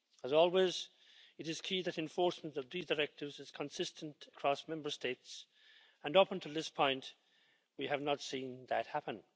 As always, it is key that enforcement of these directives is consistent across Member States and, up until this point, we have not seen that happen.